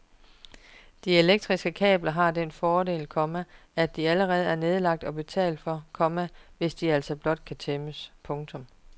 De elektriske kabler har den fordel, komma at de allerede er nedlagt og betalt for, komma hvis altså blot de kan tæmmes. punktum